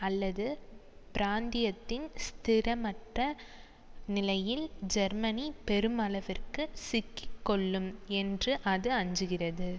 அல்லது பிராந்தியத்தின் ஸ்திரமற்ற நிலையில் ஜெர்மனி பெருமளவிற்கு சிக்கி கொள்ளும் என்று அது அஞ்சுகிறது